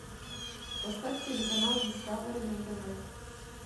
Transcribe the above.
поставь телеканал дискавери на тв